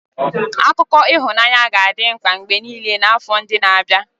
Akụkọ ịhụnanya ga-adị mkpa mgbe niile n'afọ ndị na-abịa.